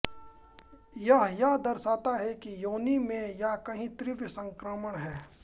यह यह दर्शता है कि योनि में या कहीं तीव्र संक्रमण है